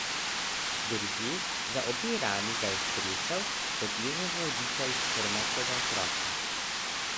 Drže za obe rami ga je stresel, kot jezen roditelj trmastega otroka.